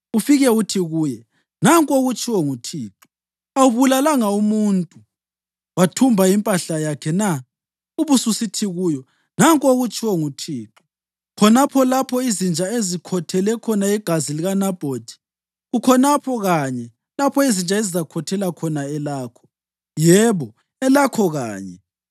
Ufike uthi kuye, ‘Nanku okutshiwo nguThixo: Awubulalanga umuntu wathumba impahla yakhe na?’ Ubususithi kuyo, ‘Nanku okutshiwo nguThixo; Khonapho lapho izinja ezikhothele khona igazi likaNabhothi, kukhonapho kanye lapho izinja ezizakhothela khona elakho, yebo, elakho kanye!’ ”